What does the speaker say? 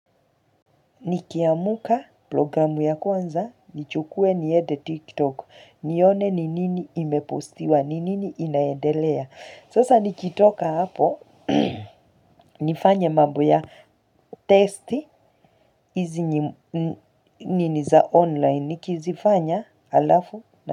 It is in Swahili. Nikiamuka programu ya kwanza, nichukue niede tiktok, nione ni nini imepostiwa, ni nini inaendelea. Sasa nikitoka hapo, nifanye mambo ya testi, nini za online, nikizifanya alafu na.